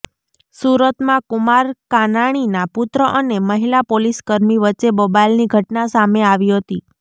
સુરતમાં કુમાર કાનાણીના પુત્ર અને મહિલા પોલીસકર્મી વચ્ચે બબાલની ઘટના સામે આવી હતી